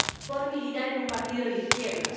por militar en un partido de izquierdas.